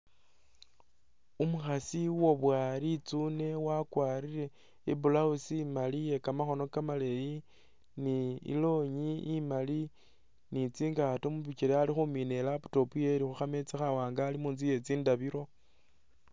Umukhasi uwaboya litsune wakwarire i'blouse imali iye kamakhono kamaleeyi, ni i'longi imali ni tsingaato mu bikele ali khumina i'laptop yewe ili khu khameza khawaanga ali mu nzu ye tsindabilo.